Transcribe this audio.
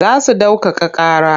Za su ɗaukaka ƙara.